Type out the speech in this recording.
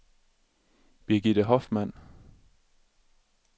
Birgitte Hoffmann